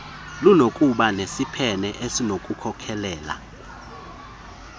lunokuba nesiphene esinokukhokelela